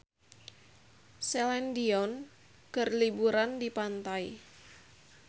Celine Dion keur liburan di pantai